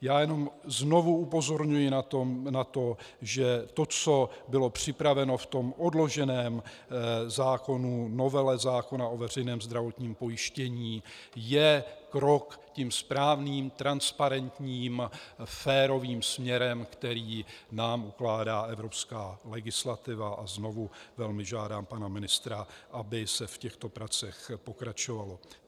Já jenom znovu upozorňuji na to, že to, co bylo připraveno v tom odloženém zákonu, novele zákona o veřejném zdravotním pojištění, je krok tím správným, transparentním, férovým směrem, který nám ukládá evropská legislativa, a znovu velmi žádám pana ministra, aby se v těchto pracích pokračovalo.